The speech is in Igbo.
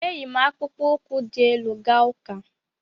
E yi m akpụkpọ ụkwụ dị elu gaa ụka.